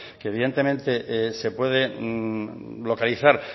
que evidentemente se puede localizar